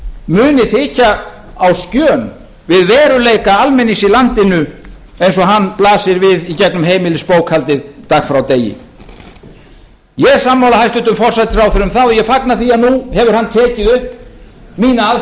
muni þykja á skjön við veruleika almennings í landinu eins og hann blasir við í gegnum heimilisbókhaldið dag frá degi ég er sammála hæstvirtum forsætisráðherra um það og ég fagna því að nú hefur hann tekið upp mína aðferð